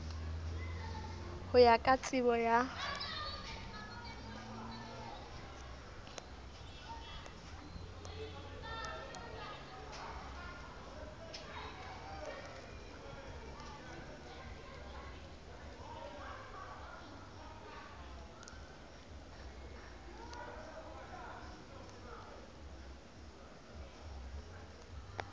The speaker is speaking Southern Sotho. ho ya ka tsebo ya